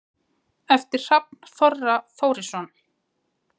eftir hrafn þorra þórisson